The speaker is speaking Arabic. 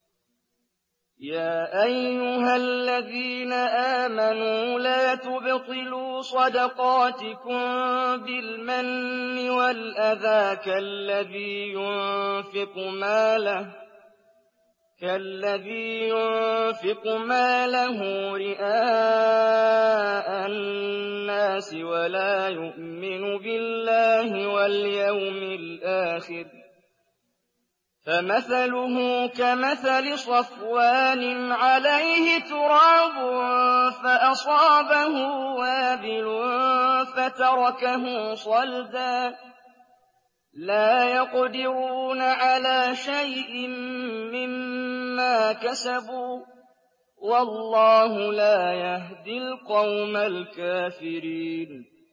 يَا أَيُّهَا الَّذِينَ آمَنُوا لَا تُبْطِلُوا صَدَقَاتِكُم بِالْمَنِّ وَالْأَذَىٰ كَالَّذِي يُنفِقُ مَالَهُ رِئَاءَ النَّاسِ وَلَا يُؤْمِنُ بِاللَّهِ وَالْيَوْمِ الْآخِرِ ۖ فَمَثَلُهُ كَمَثَلِ صَفْوَانٍ عَلَيْهِ تُرَابٌ فَأَصَابَهُ وَابِلٌ فَتَرَكَهُ صَلْدًا ۖ لَّا يَقْدِرُونَ عَلَىٰ شَيْءٍ مِّمَّا كَسَبُوا ۗ وَاللَّهُ لَا يَهْدِي الْقَوْمَ الْكَافِرِينَ